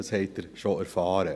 dies haben Sie schon erfahren.